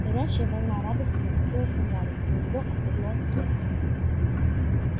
горячая волна радости накатилась на гарри и у него отлегло от сердца